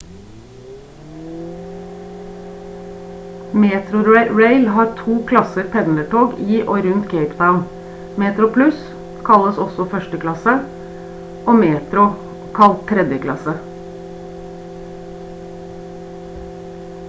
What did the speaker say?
metrorail har to klasser pendlertog i og rundt cape town: metroplus kalles også førsteklasse og metro kalt tredjeklasse